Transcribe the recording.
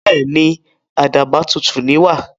Bẹ́èni, àdàbà tutù ní wà.